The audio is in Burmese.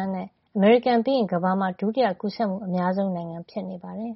န်းနဲ့ အမေရိကန်ပြီးရင် ကမ္ဘာမှာ ဒုတိယကူးစက်မှု အများဆုံး ဖြစ်နေပါတယ်